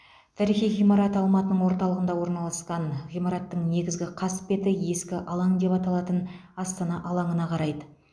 тарихи ғимарат алматының орталығында орналасқан ғимараттың негізгі қасбеті ескі алаң деп аталатын астана алаңына қарайды